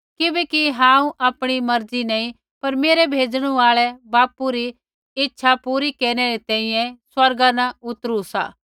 किबैकि हांऊँ आपणी मर्जी नैंई पर मेरै भेजणु आल़ै बापू री इच्छा पूरी केरनै री तैंईंयैं स्वर्गा न उतरु सा